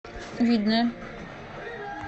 видное